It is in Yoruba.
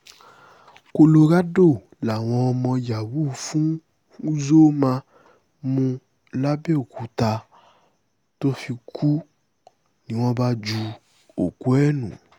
colorado làwọn ọmọ yahoo fún uzoma mú lápbèòkúta tó fi kú ni wọ́n bá ju òkú ẹ̀ nù